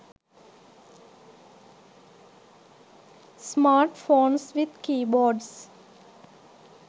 smartphones with keyboards